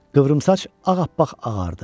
Qıvrımsaç ağappaq ağardı.